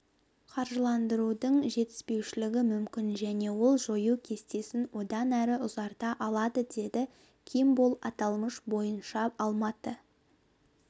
қаржыландырудың жетіспеушілігі мүмкін және ол жою кестесін одан әрі ұзарта алады деді кимболл аталмыш бойынша алматы